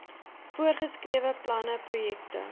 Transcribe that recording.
voorgeskrewe planne projekte